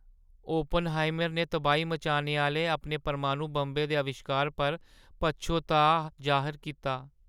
Oppenheimer ने तबाही मचाने आह्‌ले अपने परमाणु बंबै दे अविश्कारै पर पच्छोताऽ जाह्‌र कीता ।